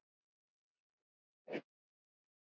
Mér finnst lýsi vont